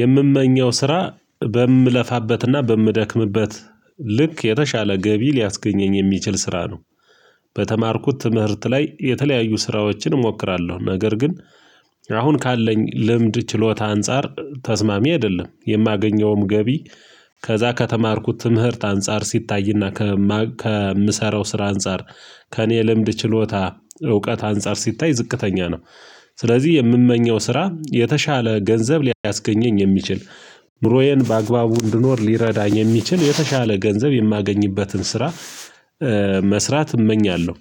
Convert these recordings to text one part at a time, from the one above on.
የምመኘው ስራ በምለፋበትና በምደክምበት ልክ የተሻለ ገቢ ሊያስገኘኝ የሚችል ስራ ነው። በተማርኩት ትምህርት ላይ የተለያዩ ስራዎችን እሞክራለሁ ነገር ግን። ካለኝ ልምድ ችሎታ አንፃር ተስማሚ አይደለም የማገኘውም ገቢ። ከዛ ከተማርኩት ትምህርት አንፃር ሲታይና ከምሰራው ስራ አንፃር ከእኔ ልምድ ችሎታ እውቀት አንፃር ሲታይ ዝቅተኛ ነው። ስለዚህ የምመኘው ስራ የተሻለ ገንዘብ ሊያስገኘኝ የሚችል ኑሮዬን በአግባቡ እንድኖር ሊረዳኝ የሚችል የተሻለ ገንዘብ የማገኝበትን ስራ መስራት እመኛለሁ።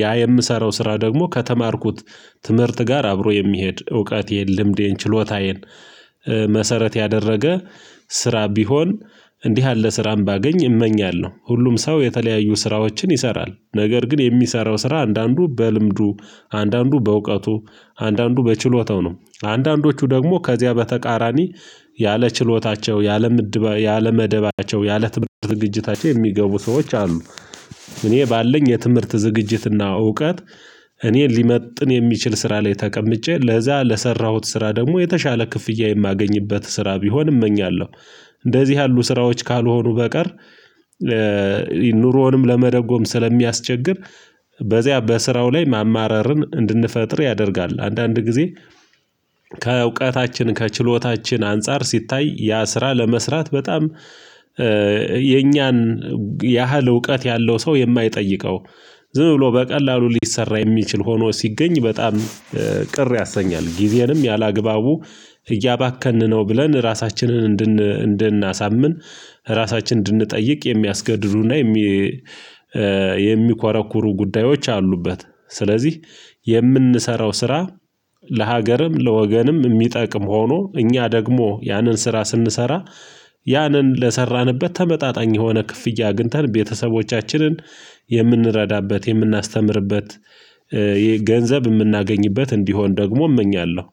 ያ የምሰራው ስራ ደግሞ ከተማርኩት ትምህርት ጋር አብሮ የሚሄድ እውቀቴን ልምዴን ችሎታዬን መሰረት ያደረገ ስራ ቢሆን እንዲህ ያለ ስራም ባገኝ እመኛለሁ። ሁሉም ሰው የተለያዩ ስራዎችን ይሰራል ነገር ግን የሚሰራው ስራ አንዳንዱ በልምዱ አንዳንዱ በእውቀቱ አንዳንዱ በችሎታው ነው አንዳንዶቹ ደግሞ ከዚያ በተቃራኒ ያለ ችሎታቸው ያለ መደባቸው ያለ ትምህርት ዝግጅታቸው የሚገቡ ሰዎች አሉ። እኔ ባለኝ የትምህርት ዝግጅትና እውቀት እኔን ሊመጥን የሚችል ስራ ላይ ተቀምጬ ለዛ ለሰራሁት ስራ ደግሞ የተሻለ ክፍያ የማገኝበት ስራ ቢሆን እመኛለሁ። እንደዚህ ያሉ ስራዎች ካልሆኑ በቀር ኑሮውንም ለመደጎም ስለሚያስቸግር በዚያ በስራው ላይ ማማረርን እንድንፈጥር ያደርጋል አንዳንድ ጊዜ። ከእውቀታችን ከችሎታችን አንፃር ሲታይ ያ ስራ ለመስራት በጣም የኛን ያህል እውቀት ያለው ሰው የማይጠይቀው ዝም ብሎ በቀላሉ ሊሰራ የሚችል ሆኖ ሲገኝ በጣም ቅር ያሰኛል። ጊዜንም ያላግባቡ እያባከንን ነው ብለን ራሳችንን እንድናሳምን ራሳችንን እንድንጠይቅ የሚያስገድዱና የሚኮረኩሩ ጉዳዮች አሉበት። ስለዚህ የምንሰራው ስራ ለሀገርም ለወገንም ሚጠቅም ሆኖ እኛ ደግሞ ያንን ስራ ስንሰራ ያንን ለሰራንበት ተመጣጣኝ የሆነ ክፍያ አግኝተን ቤተሰቦቻችንን የምንረዳበት የምናስተምርበት ገንዘብ ምናገኝበት እንዲሆን ደግሞ እመኛለሁ